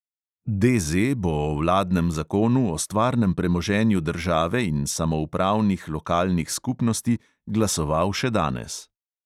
DZ bo o vladnem zakonu o stvarnem premoženju države in samoupravnih lokalnih skupnosti glasoval še danes.